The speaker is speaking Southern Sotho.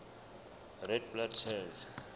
red blood cells